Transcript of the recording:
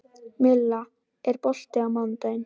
Milla, er bolti á mánudaginn?